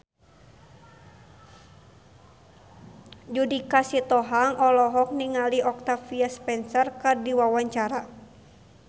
Judika Sitohang olohok ningali Octavia Spencer keur diwawancara